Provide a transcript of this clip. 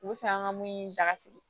U bɛ fɛ an ka mun da sigi